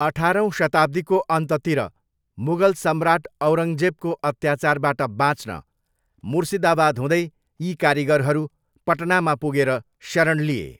अठारौँ शताब्दीको अन्ततिर मुगल सम्राट औरङ्गजेबको अत्याचारबाट बाँच्न मुर्सिदाबाद हुँदै यी कारिगरहरू पटनामा पुगेर शरण लिए।